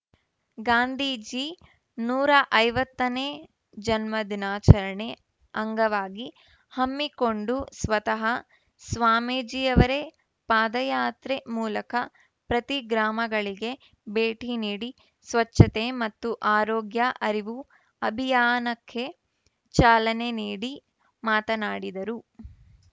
ಗಾಂಧೀಜಿ ನೂರ ಐವತ್ತನೇ ಜನ್ಮದಿನಾಚರಣೆ ಅಂಗವಾಗಿ ಹಮ್ಮಿಕೊಂಡು ಸ್ವತಃ ಸ್ವಾಮೀಜಿಯವರೇ ಪಾದಯಾತ್ರೆ ಮೂಲಕ ಪ್ರತಿ ಗ್ರಾಮಗಳಿಗೆ ಭೇಟಿ ನೀಡಿ ಸ್ವಚ್ಛತೆ ಮತ್ತು ಆರೋಗ್ಯ ಅರಿವು ಅಭಿಯಾನಕ್ಕೆ ಚಾಲನೆ ನೀಡಿ ಮಾತನಾಡಿದರು